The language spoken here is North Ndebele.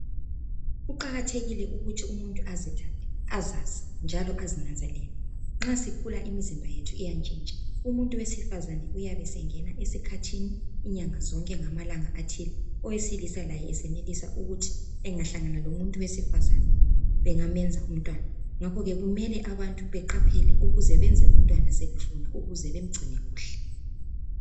Kuqakathekile ukuthi umuntu azithande, azazi njalo azinanzelele. Nxa sikhula imizimba yethu iyatshintsha . Umuntu wesifazana uyabe esengena esikhathini inyanga zonke ngamalanga athile. Owesilisa laye esenelisa ukuthi angahlangana lomuntu wesifazana bengamenza umntwana. Ngakho ke kumele abantu beqaphele ukuze benze umntwana sebefuna ukuze bemgcine kuhle.